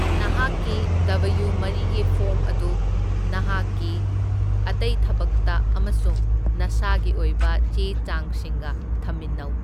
ꯅꯍꯥꯛꯀꯤ ꯗꯕꯌꯨ ꯃꯔꯤꯒꯤ ꯐꯣꯔꯝ ꯑꯗꯨ ꯅꯍꯥꯛꯀꯤ ꯑꯇꯩ ꯊꯕꯛꯇ ꯑꯃꯁꯨꯡ ꯅꯁꯥꯒꯤ ꯑꯣꯏꯕ ꯆꯦ ꯆꯥꯡꯁꯤꯡꯒ ꯊꯝꯃꯤꯟꯅꯧ꯫